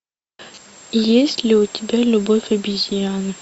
есть ли у тебя любовь обезьян